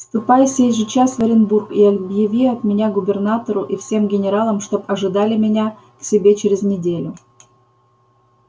ступай сей же час в оренбург и объяви от меня губернатору и всем генералам чтоб ожидали меня к себе через неделю